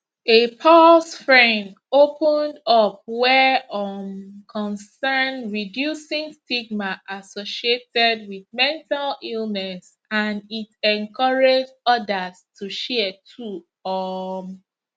a pause fren opened up wey um concern reducing stigma associated wit mental illness and it encouraged odas to share too um